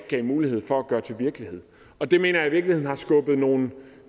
gav mulighed for at gøre til virkelighed og det mener jeg i virkeligheden har skubbet nogle